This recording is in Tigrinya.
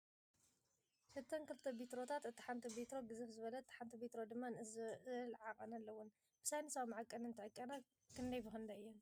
እተን ክልተ ቤትሮታት እታ ሓንቲ ቤትሮ ግዝፍ ዝበለት እታ ሓንቲ ቤትሮ ድማ ንእስ ዝብለ ዓቀን ኣለወን፡፡ ብሳይነሳዊ መዐቀኒ እንትዕቀና ክንደይ ብክንደይ እየን?